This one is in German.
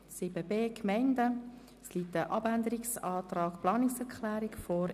Zu 7.b Gemeinden liegt ein Abänderungsantrag respektive eine Planungserklärung vor.